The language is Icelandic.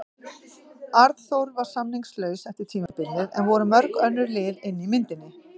Arnþór var samningslaus eftir tímabilið en voru mörg önnur lið inni í myndinni?